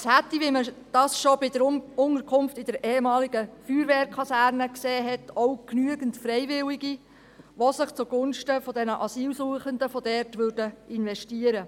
Es hätte – wie man das schon bei der Unterkunft in der ehemaligen Feuerwehrkaserne gesehen hat – auch genügend Freiwillige, die sich zugunsten der dortigen Asylsuchenden investieren würden.